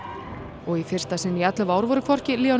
og í fyrsta sinn í ellefu ár voru hvorki